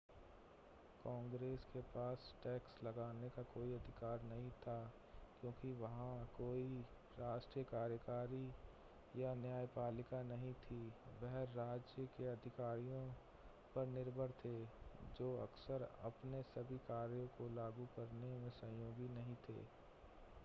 कांग्रेस के पास टैक्स लगाने का कोई अधिकार नहीं था क्योंकि वहां कोई राष्ट्रीय कार्यकारी या न्यायपालिका नहीं थी यह राज्य के अधिकारियों पर निर्भर थे जो अक्सर अपने सभी कार्यों को लागू करने में सहयोगी नहीं थे